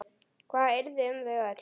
Hvað yrði um þau öll?